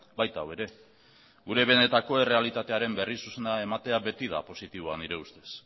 baita hau ere gure benetako errealitatearen berri zuzena ematea beti da positiboa nire ustez